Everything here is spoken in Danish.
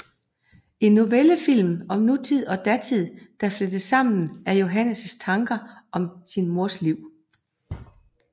En novellefilm om nutid og datid der flettes sammen af Johannes tanker om sin mors liv